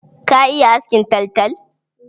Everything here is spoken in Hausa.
Ka iya askin taltal?